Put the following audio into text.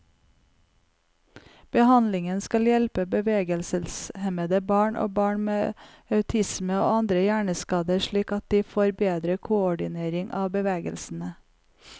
Behandlingen skal hjelpe bevegelseshemmede barn, og barn med autisme og andre hjerneskader slik at de får bedre koordinering av bevegelsene.